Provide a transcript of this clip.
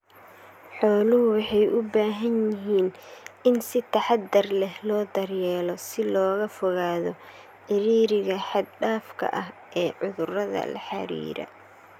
Xooluhu waxay u baahan yihiin in si taxadar leh loo daryeelo si looga fogaado cidhiidhiga xad dhaafka ah ee cudurada la xiriira.